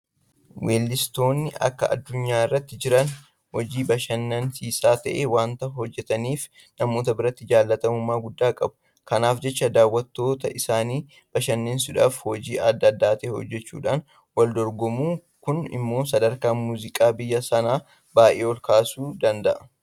Weellistoonni akka addunyaatti jiran hojii bashannansiisaa ta'e waanta hojjetaniif namoota biratti jaalatamummaa guddaa qabu. Kanaaf jecha daawwattoota isaanii bashannansiisuudhaaf hojii adda ta'e hojjechuudhaan waldorgomu. Kun immoo sadarkaa Muuziqaa biyya sanaa baay'ee olkaasuu danda'a.